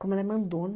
Como ela é mando